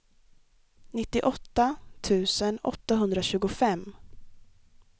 nittioåtta tusen åttahundratjugofem